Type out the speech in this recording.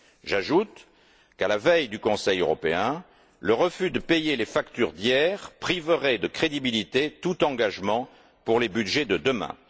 J'ajoute qu'à la veille du Conseil européen, le refus de payer les factures d'hier priverait de crédibilité tout engagement pour les budgets de demain.